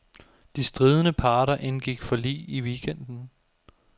De stridende parter indgik forlig i weekenden.